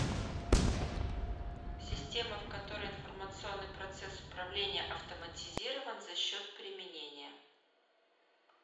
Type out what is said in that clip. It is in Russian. система в которой информационный процесс управления автоматизирован за счет применения